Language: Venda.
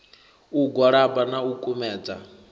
u gwalaba na u kumedza